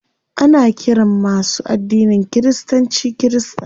Ana ƙiran masu addinin kiristanci kirista.